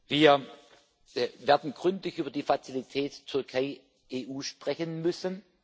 Wir werden gründlich über die Fazilität Türkei EU sprechen müssen.